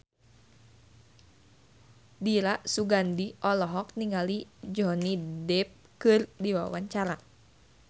Dira Sugandi olohok ningali Johnny Depp keur diwawancara